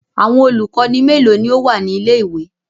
Awọn olukọni melo ni o wa ni ile-iwe?